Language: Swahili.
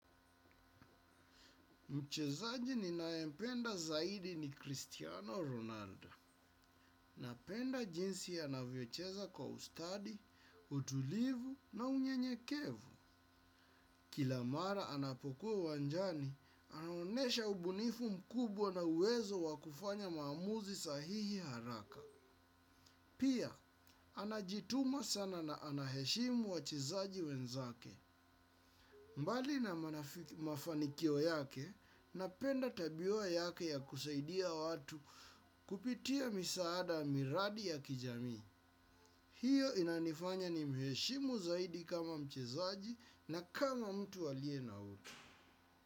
Mchezaji ninayempenda zaidi ni Cristiano Ronaldo. Napenda jinsi anavyocheza kwa ustadi, utulivu na unyenyekevu. Kila mara anapokuwa uwanjani, anaonyesha ubunifu mkubwa na uwezo wa kufanya maamuzi sahihi haraka. Pia, anajituma sana na anaheshimu wachezaji wenzake. Mbali na mafanikio yake, napenda tabia yake ya kusaidia watu kupitia misaada miradi ya kijamii. Hiyo inanifanya nimheshimu zaidi kama mchezaji na kama mtu aliye na utu.